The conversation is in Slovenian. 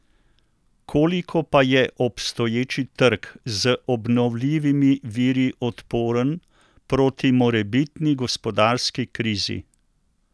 Koliko pa je obstoječi trg z obnovljivimi viri odporen proti morebitni gospodarski krizi?